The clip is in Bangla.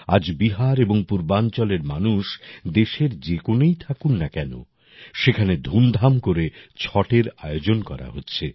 আজ বিহার এবং পূর্বাঞ্চলের মানুষ দেশের যে কোণেই থাকুন না কেন সেখানে ধুমধাম করে ছটের আয়োজন করা হচ্ছে